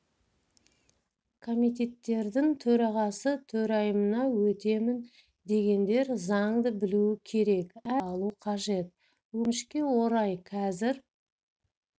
комитеттердің төрағасы төрайымына өтемін дегендер заңды білуі керек әр заңнан ұпай алу қажет өкінішке орай қазір